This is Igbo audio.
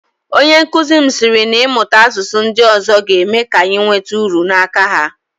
Onyenkụzi m sịrị na ịmụta asụsụ ndị ọzọ ga-eme ka anyị nweta uru n'aka ha